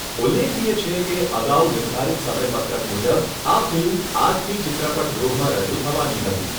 ઉલ્લેખનીય છે કે, અગાઉ નિર્ધારિત સમયપત્રક મુજબ આ ફિલ્મ આજથી ચિત્રપટગૃહમાં રજૂ થવાની હતી.